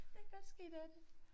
Det godt ske det er det